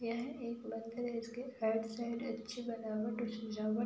यह एक मंदिर है जिसके साइड साइड अच्छी बनावट और सजावट --